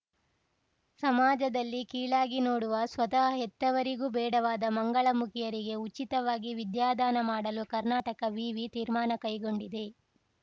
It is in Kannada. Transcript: ಸಮಾಜದಲ್ಲಿ ಕೀಳಾಗಿ ನೋಡುವ ಸ್ವತಃ ಹೆತ್ತವರಿಗೂ ಬೇಡವಾದ ಮಂಗಳಮುಖಿಯರಿಗೆ ಉಚಿತವಾಗಿ ವಿದ್ಯಾದಾನ ಮಾಡಲು ಕರ್ನಾಟಕ ವಿವಿ ತೀರ್ಮಾನ ಕೈಗೊಂಡಿದೆ